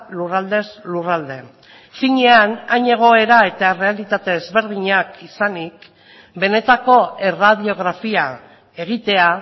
lurraldez lurralde finean hain egoera eta errealitate ezberdinak izanik benetako erradiografia egitea